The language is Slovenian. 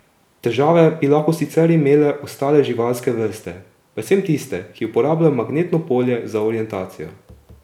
Težave bi lahko sicer imele ostale živalske vrste, predvsem tiste, ki uporabljajo magnetno polje za orientacijo.